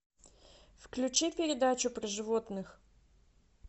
включи передачу про животных